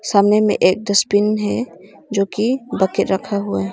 सामने में एक डस्टबिन है जो की रखा हुआ है।